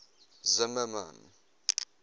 zimmermann